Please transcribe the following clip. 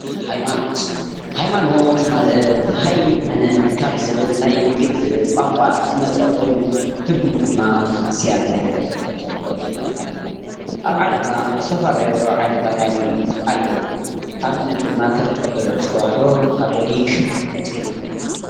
ሃይማኖት፡- ሃይማኖት ማለት "ሃይመነ" ካብ ዝብል ናይ ግእዝ ቋንቋ ዝመፀ ኾይኑ ትርጉሙ ድማ እግዚኣብሔር ከም ዘሎ ምእማን ማለት እዩ፡፡ ኣብ ዓለምና ዝተፈላለዩ ዓይነታት ሃይማኖት ኣለው፡፡ ኣብነት ድማ ከም ኦርቶዶክስ ተዋህዶ፣ ካቶሊክ፣ እስልምና ።